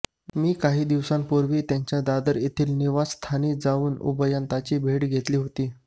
मी काही दिवसांपूर्वी त्यांच्या दादर येथील निवासस्थानी जाऊन उभयतांची भेट घेतली होती